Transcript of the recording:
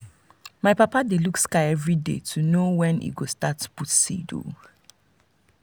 my papa dey look sky every day to know when e go start put seed.